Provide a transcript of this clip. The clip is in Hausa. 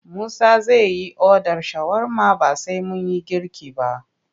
Musa zai yi odar shawarma ba sai mun yi girki ba.